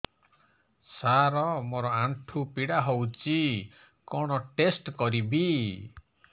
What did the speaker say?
ସାର ମୋର ଆଣ୍ଠୁ ପୀଡା ହଉଚି କଣ ଟେଷ୍ଟ କରିବି